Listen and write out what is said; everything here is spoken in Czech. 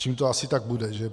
Čím to asi tak bude?